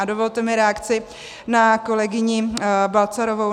A dovolte mi reakci na kolegyně Balcarovou.